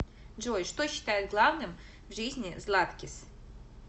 джой что считает главным в жизни златкис